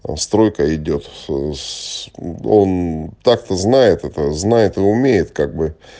там стройка идёт он так то знает это знает и умеет как бы